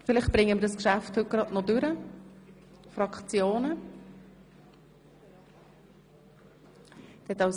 Vielleicht bringen wir dieses Geschäft heute noch zum Abschluss.